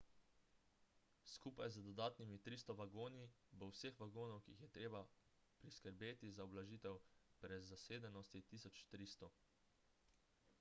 skupaj z dodatnimi 300 vagoni bo vseh vagonov ki jih je treba priskrbeti za ublažitev prezasedenosti 1300